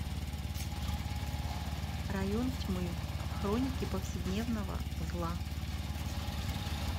район тьмы хроники повседневного зла